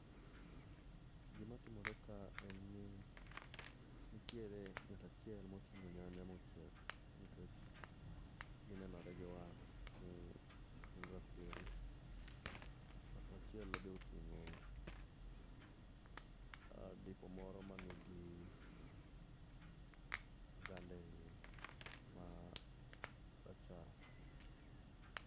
gimatimore ka en ni nitiere ng'atachiel motingo nyanya mochiek nikech ginenore giwang ni gin rakwere ngat machielo beotingo adipo moro manigi oganda eie marachar